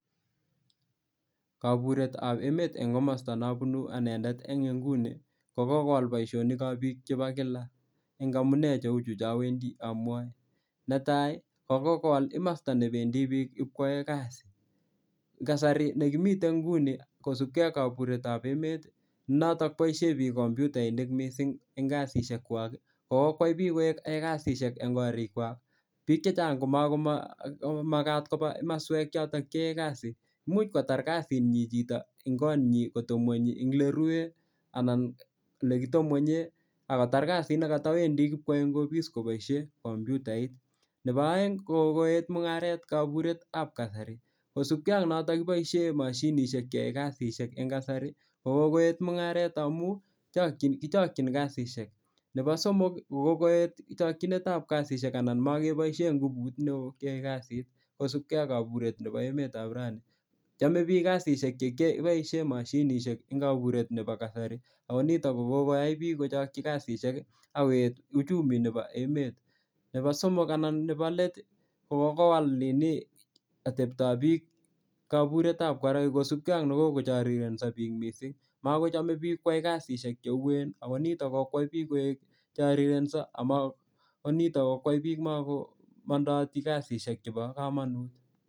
Kaburetab emet eng' komosta nabunu anendet eng' nguni ko kokowal boishonik chebo biik chebo kila eng' amune cheu chu chawendi amwoe netai kokokowal komosta nebendi biik bikwoei kasi kasari nekimitei nguni kosupkei ak kaburetab emet notok boishe biik kompyutainik mising' eng' kasisiekwach kokokwai biik koek yotei kasishekwach eng' korikwak biko chechang' komakomakat koba komoswek choto cheyae kasi much kotar kasinyi chichito eng' konyi kotebing'wenyi eng' ole rue anan ole kitepng'enye akotar kasit nekatawendi kupikwoei eng' opis kopikoboishe kompyutait nebo oeng' ko kokeet mung'aret kaburetab kasari kosupkei ak noto koboishe mashinishek keyoi kasishek eng' kasari kokokoet mung'aret amu kichokchin kasishek nebo somok kokokoet chokchinetab kasishek anan makeboishe ngubu neo keyoei kasit kosupkei ak kaburet nebo emetab raini chomei biik kasishek chekiboishe mashinishek eng' kaburet nebo kasari ako nito kokoyai biko kochokchi kasishek akoet uchumi nebo emet nebo let kokokowal ateptoab biko kaburetab karait kosupkei ak nekokochorirenso biik mising' makochomei biik kwai kasishek cheuen akonito kokokwai biik koek chorirensho ako nito kokwai biik makomondoti kasishek chebo komonut